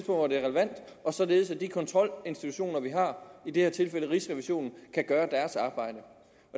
hvor det er relevant og således at de kontrolinstitutioner vi har i det her tilfælde rigsrevisionen kan gøre